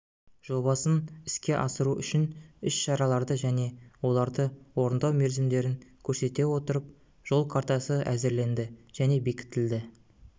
жобасын іске асыру үшін іс-шараларды және оларды орындау мерзімдерін көрсете отырып жол картасы әзірленді және бекітілді